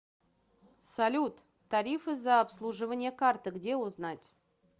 салют тарифы за обслуживание карты где узнать